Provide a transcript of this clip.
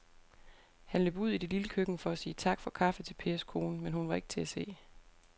Han løb ud i det lille køkken for at sige tak for kaffe til Pers kone, men hun var ikke til at se.